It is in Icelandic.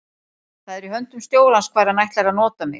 Það er í höndum stjórans hvar hann ætlar að nota mig.